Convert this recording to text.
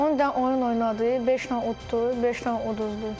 On də oyun oynadı, beşlə uddu, beşlə uduzdu.